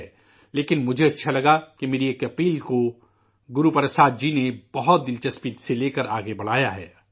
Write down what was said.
لیکن، مجھے اچھا لگا کہ میری ایک گزارش کو گرو پرساد جی نے بہت دلچسپی لے کر آگے بڑھایا ہے